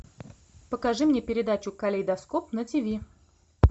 покажи мне передачу калейдоскоп на тиви